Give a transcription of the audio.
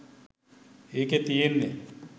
ඒකෙ තියෙන්නෙ